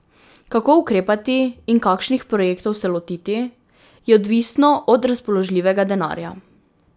Kako ukrepati in kakšnih projektov se lotiti, je odvisno od razpoložljivega denarja.